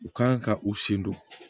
U kan ka u sen don